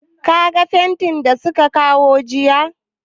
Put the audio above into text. Ka ga fentin da su ka kawo jiya?